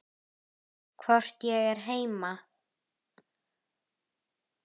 Hvort ég er heima?